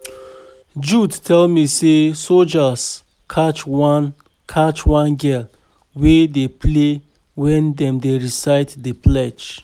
Jude tell me say soldiers catch one catch one girl wey dey play wen dem dey recite the pledge